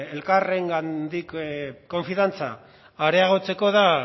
elkarrengandik konfiantza areagotzeko da